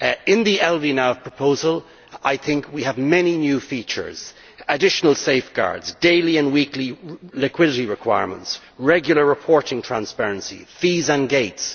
In the LVNAV proposal I think we have many new features, additional safeguards, daily and weekly liquidity requirements, regular reporting transparency, fees and gates.